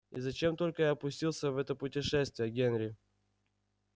и зачем только я пустился в это путешествие генри